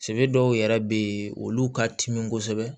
Se dɔw yɛrɛ bɛ yen olu ka timi kosɛbɛ